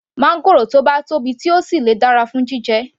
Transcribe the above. Máńgòrò tó bá tóbi tó sì le dára fún jíjẹ